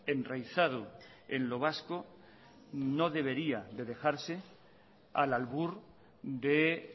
enraizado en lo vasco no debería de dejarse al albur de